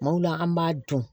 Kumaw la an b'a dun